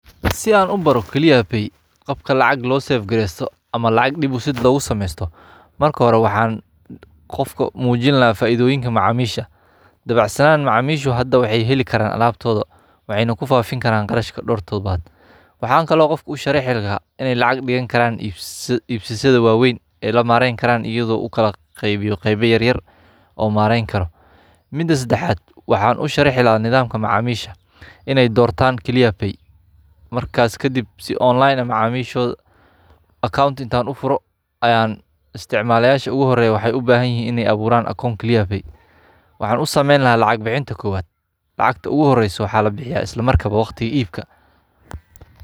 Si an ubaaro clear pay qabka lacag lo safgreysto ama lacag deposit loga sameysto marka hore waxan qofka mujin laha faidoyinka macaa misha dabacsanan macamisha hada waxay helikaran alabtoda waxayna kufafin karan qarashka dhowr totobad waxa kalo an qofka usharixi laha inay lacag digan karan ibsashada waweyn e lamareyn karan kala qeybiyo qeyba yar yar o mareyn karo mida sadaxad waxan u sharixi laha nidhamka macamiisha inay dowrtan clear pay marka kadib si online ah macamishoda account inta an ufuro ayan isticmala yasha u horeyo waxay ubahan yahin in ayfuran account clear pay waxan usameyn laha kalinta kowad lacagta ugu horeeyso waxa la bixiya waqtiga ibka.